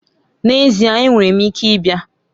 N'ezie! Enwere m ike ịbịa.